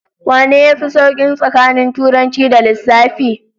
Wanne yafi sauki tsakanin Turanci da Lissafi?